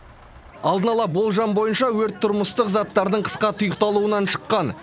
алдын ала болжам бойынша өрт тұрмыстық заттардың қысқа тұйықталуынан шыққан